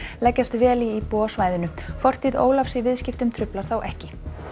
leggjast vel í íbúa á svæðinu fortíð Ólafs í viðskiptum truflar þá ekki